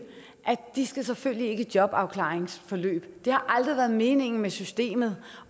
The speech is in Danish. selvfølgelig ikke skal i jobafklaringsforløb det har aldrig været meningen med systemet